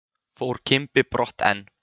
Fór Kimbi brott en